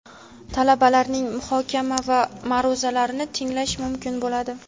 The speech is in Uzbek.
talabalarining muhokama va ma’ruzalarini tinglash mumkin bo‘ladi.